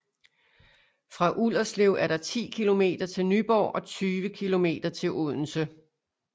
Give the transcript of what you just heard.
Fra Ullerslev er der 10 kilometer til Nyborg og 20 kilometer til Odense